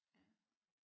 Ja